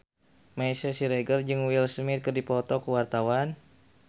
Meisya Siregar jeung Will Smith keur dipoto ku wartawan